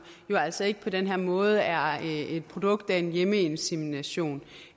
jo altså ikke på den her måde er et produkt af en hjemmeinsemination